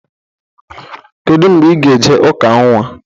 Kedụ mgbe ị ga e je ụka nnwa?